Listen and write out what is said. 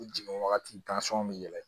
U jigin wagati bɛ yɛlɛn